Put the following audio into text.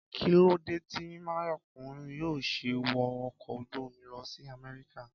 Kí lóde tí Máyọ̀kún yóò ṣe wọ ọkọ̀ ojú-omi lọ sí Amẹ́ríkà?